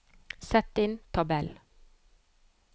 Sett inn tabell